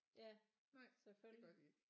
Ja selvfølgelig